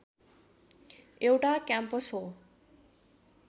एउटा क्याम्पस हो